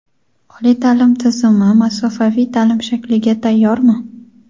Oliy ta’lim tizimi masofaviy ta’lim shakliga tayyormi?.